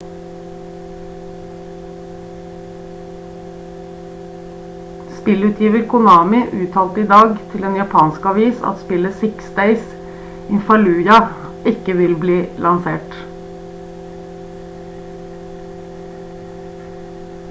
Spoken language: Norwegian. spillutgiver konami uttalte i dag til en japansk avis at spillet six days in fallujah ikke vil bli lansert